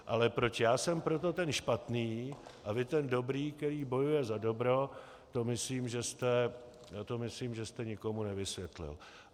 Ale proč já jsem proto ten špatný a vy ten dobrý, který bojuje za dobro, to myslím, že jste nikomu nevysvětlil.